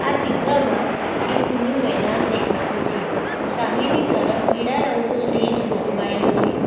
આ ચિત્રમાં એ ખુલ્લું મેદાન દેખાતું છે સામેની તરફ પીળા રંગનું સ્ટેજ ગોઠવાયેલું છે.